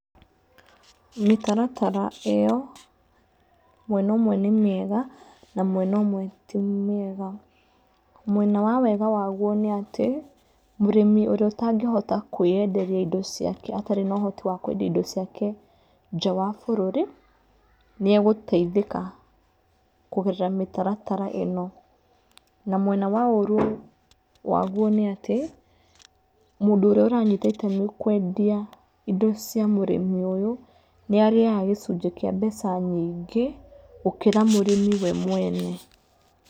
Mĩtaratara ĩo, mwena ũmwe nĩ mĩega na mwena ũmwe ti mĩega. Mwena wa wega waguo nĩ atĩ, mũrĩmi ũrĩa ũtangĩhota kwĩenderia indo ciake atarĩ na ũhoti wa kwendia indo ciake nja wa bũrũri, nĩegũteithĩka kũgerera mĩtaratara ĩno na mwena wa ũru waguo nĩ atĩ mũndũ ũrĩa ũranyita itemi kwendia indo cia mũrĩmi ũyũ nĩarĩaga gĩcunjĩ kĩa mbeca nyingĩ gũkĩra mũrĩmi we mwene.